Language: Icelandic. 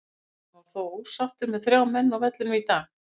Hann var þó ósáttur með þrjá menn á vellinum í dag.